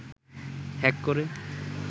hack করে